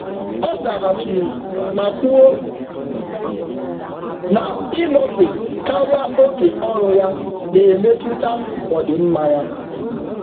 Ọ kesara nzaghachi banyere ka oge ọrụ ọrụ oge na-emetụta ọdịmma onwe ya.